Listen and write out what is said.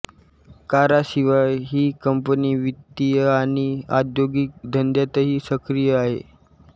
कारांशिवाय ही कंपनी वित्तीय आणि औद्योगिक धंद्यातही सक्रिय आहे